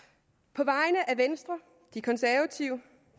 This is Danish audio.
på vegne af venstre de konservative